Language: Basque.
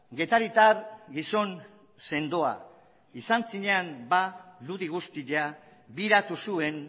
getaritar gizon sendoa izan zinen ba ludi guztia biratu zuen